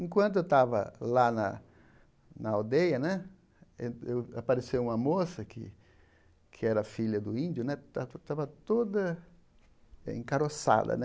Enquanto eu estava lá na na aldeia né, eu eu apareceu uma moça que que era filha do índio né, estava estava toda encaroçada né.